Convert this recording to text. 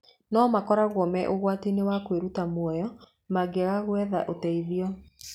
No makoragwo me ũgwati-inĩ wa kwĩruta mũoyo mangĩaga gwetha ũteithio.